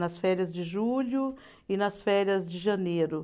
Nas férias de julho e nas férias de janeiro.